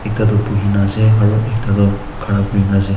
ekta tu buhine ase ekta tu khara korina ase.